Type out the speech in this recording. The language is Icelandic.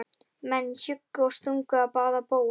Menn hjuggu og stungu á báða bóga.